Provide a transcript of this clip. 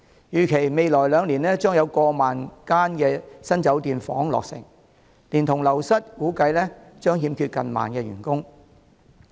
預計未來兩年將有過萬間新酒店房間落成，連同流失，估計將欠缺近萬名員工。